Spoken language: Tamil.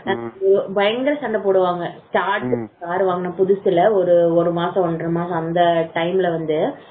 பயங்கர சண்டை போடுவாங்க ஆடுவாங்க போன புதுசுல ஒரு ஒரு மாசம் ஒன்றரை மாசம் அந்த time ல வந்து